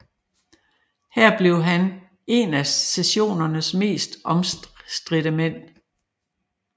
Her blev han en af secessionens mest omstridte mænd